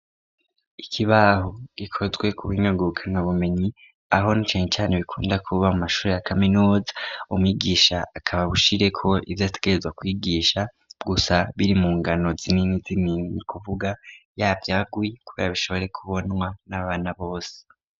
Ikibaho gikozwe ku buhinga ngurukana bumenyi, aho na cane cane bikunda kuba mu mashure ya kaminuza, umwigisha akaba bushireko ivyo yategerezwa kwigisha, gusa biri mu ngano zinini zinini, ni kuvuga yavyaguye kugira bishobore kubonwa n'abana bose.